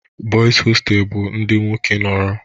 Boys hostels bụ ndị nwoke nọrọ